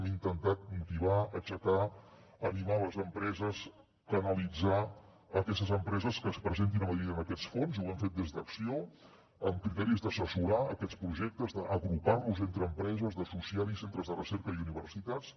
hem intentat motivar aixecar animar les empreses canalitzar aquestes empreses que es presentin a madrid en aquests fons i ho hem fet des d’acció amb criteris d’assessorar aquests projectes d’agrupar los entre empreses d’associar hi centres de recerca i universitats